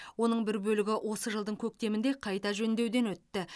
оның бір бөлігі осы жылдың көктемінде қайта жөндеуден өтті